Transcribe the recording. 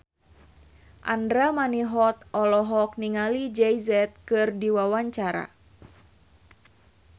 Andra Manihot olohok ningali Jay Z keur diwawancara